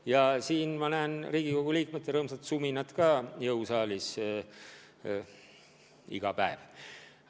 Ja ma olen Riigikogu liikmete rõõmsat suminat ka selle maja jõusaalis kogenud.